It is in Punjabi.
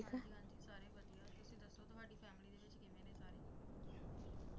ਹਾਂ ਜੀ ਸਾਰੇ ਵਧੀਆ ਤੁਸੀ ਦੱਸੋ ਤੁਹਾਡੀ family ਵਿੱਚ ਕਿਵੇਂ ਨੇ ਸਾਰੇ